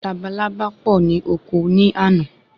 Labalábá pọ ni oko ni àná